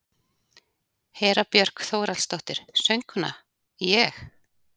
Hera Björk Þórhallsdóttir, söngkona: Ég?